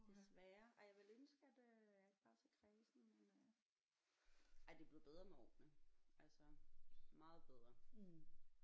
Desværre ej jeg ville ønske at øh jeg ikke var så kræsen men øh ej det er blevet bedre med årene altså meget bedre